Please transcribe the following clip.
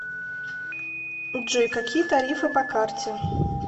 джой какие тарифы по карте